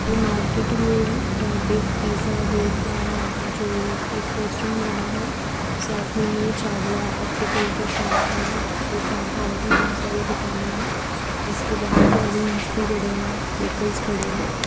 ये market view है जहा पे पिज़्ज़ा वे जो एक रेस्टोरेंट बना है साथ में न्यू चावला ऑप्टिकल की शॉप है और इनके साथ और भी बहोत सारी दुकाने है जिस के बगल बैलून्स भी पड़े है व्हीकल्स खड़े है।